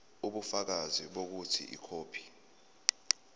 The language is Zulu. ubufakazi bokuthi ikhophi